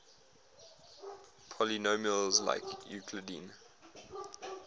polynomials like euclidean